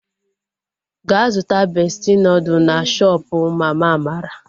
Gaa zụta bestị nudụ na shoopu mama Amara!